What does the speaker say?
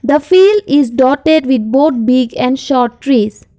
the field is dotted with both big and short trees.